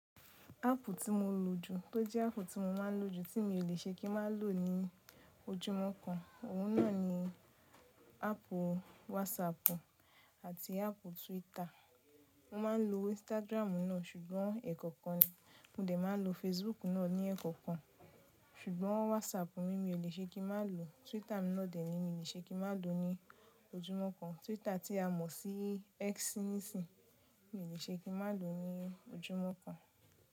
Ápù tí mo lò jù, tó jẹ́ ápù tí mo máa ń lò jù, tí mi ò le ṣe kí ma lò ní ojúmọ́ kan, òun náà ni ápù WhatsApp àti ápù Twitter. Mo máa ń lo Instagram náà ṣùgbọ́n ẹ̀kọ́kan ni. Mo dẹ̀ máa lo Facebook náà ní ẹ̀kọ́kan. Ṣùgbọ́n WhatsApp mi, mi ò le ṣe kí ma lò, Twitter mi náà dẹ̀ mi ò le ṣe kí ma lò ní ojúmọ́ kan. Twitter tí a mọ̀ sí́ X nísìyí mi ò le ṣe kí ma lò ní ojúmọ́ kan.